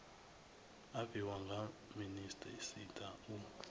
a fhiwa nga minisita u